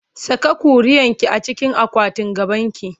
Saka ƙuriarki a cikin akwatin gabanki!